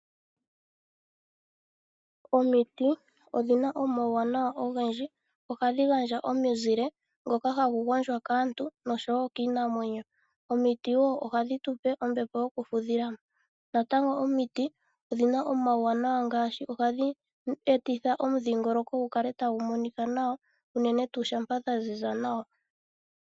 Omiti, odhina omauwanawa ogendji, ohadhi gandja omizile, mboka hagu gondjwa kaantu noshowo kiinamwenyo. Omiti ohadhi tupe wo ombepo yokufudha. Natango omiti odhina omauwanawa ngaashi ohadhi etitha omudhingoloko wu kale tawu monika nawa, unene tuu shampa dha ziza nawa.